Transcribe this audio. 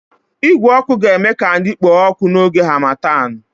Igwe ọkụ ga-eme ka anyị kpoo ọkụ n'oge harmattan